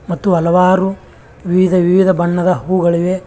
ಮತ್ತು ಹಲವಾರು ವಿವಿಧ ವಿವಿಧ ಬಣ್ಣದ ಹೂಗಳಿವೆ.